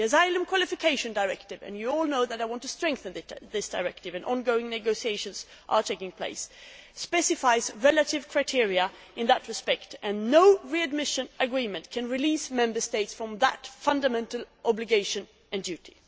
The Asylum Qualification Directive and you all know that I want to strengthen this directive and negotiations are ongoing specifies relative criteria in that respect and no readmission agreement can release Member States from that fundamental obligation and duty.